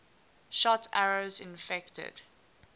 shot arrows infected